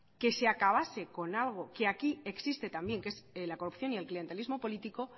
que se acabase con algo que aquí existe también que es la corrupción y el clientelismo político